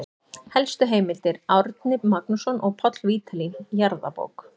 Helstu heimildir: Árni Magnússon og Páll Vídalín, Jarðabók.